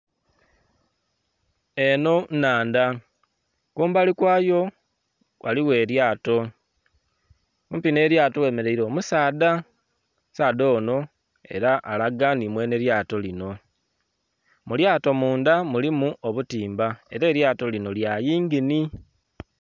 Eno nnhandha kumbali kwaayo ghaligho elyaato kumpi ne eryaato ghe mereire omusaadha, omusaadha onho era alaga ni mwenhe lyaato lino, mu lyaato mundha mulimu obutimba era eryaato lino lya yingini.